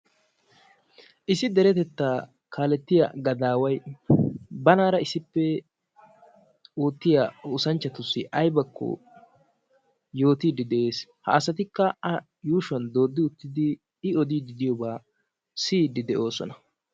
Issi deretettaa kaaletiyaa gadaaway banaara issippe oottiya oosanchchatussi aybakko yootiidi de'ees, ha asatikka a yuushuwan doodi uttidi I odiidi diyooba A siyiidi de'oosona.